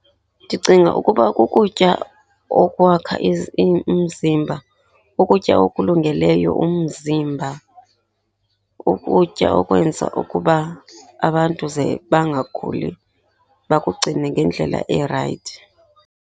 Ndicinga ukuba kukutya okwakha umzimba. Ukutya okulungeleyo umzimba, ukutya okwenza ukuba abantu ze bangaguli, bakugcine ngendlela erayithi.